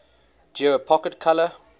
geo pocket color